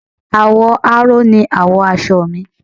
Àwọ̀ aró ni àwọ̀ aṣọ mi